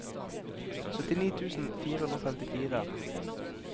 syttini tusen fire hundre og femtifire